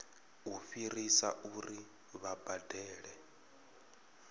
u fhirisa uri vha badele